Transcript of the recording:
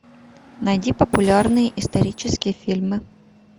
найди популярные исторические фильмы